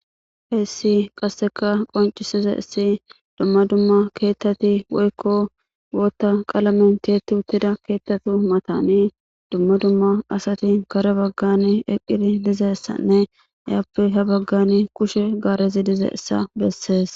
Heessi qasseka qoncisiza issi dumma dumma keettati woykko wootta qaalamentetu huttida keettatu matani dumma dumma asati kare baggan eqqidi dizessanne ayappe ha baggani kushe gaarezi dizessa bessees.